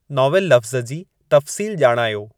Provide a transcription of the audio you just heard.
नॉविलु लफ़्ज़ जी तफ़्सील ॼाणायो